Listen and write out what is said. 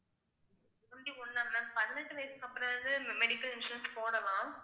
twenty one ஆ ma'am பதினெட்டு வயசுக்கு அப்புறமாவது medical insurance போடலாம்